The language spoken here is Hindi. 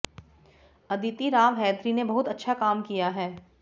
अदिति राव हैदरी ने बहुत अच्छा काम किया है